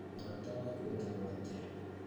Mũrata waku etagwo atĩa